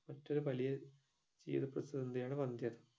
മറ്റൊരു പലിയ ജീവിത പ്രതിസന്ധിയാണ് വന്ധ്യത